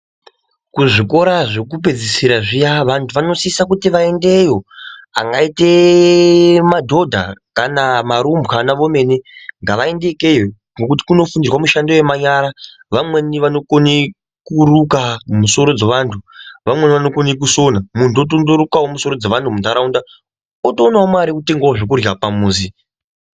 Kuzvikora zvekuoedzisira zviya vantu vanosisa kuti vaendeyo avangaite madhodha kana varumbwana vomene ngavaende ikweyo ngekuti kunofundirwa mushando yemanyara vamweni vanokone kuruka musoro dzevantu vamweni vanokone kusina muntu otondorukawo musoro dzevantu munharaunda otoonawo mare yekutenge zvekurya pamuzi.